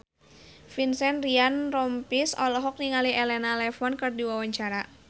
Vincent Ryan Rompies olohok ningali Elena Levon keur diwawancara